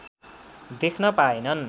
देख्न पाएनन्